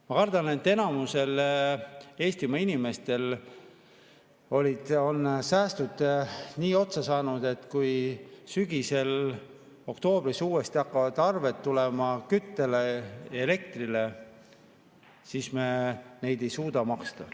Ma kardan, et enamikul Eestimaa inimestel on säästud nii otsa saanud, et kui sügisel, oktoobris hakkavad uuesti tulema kütte- ja elektriarved, siis me neid ei suuda maksta.